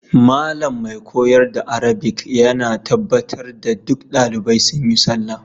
Malam mai koyar da arabic ya na tabbata duk dalibai sun yi sallah.